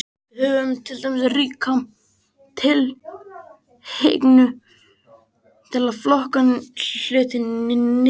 Við höfum til dæmis ríka tilhneigingu til að flokka hluti niður.